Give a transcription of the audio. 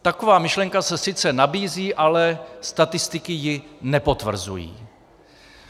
Taková myšlenka se sice nabízí, ale statistiky ji nepotvrzují.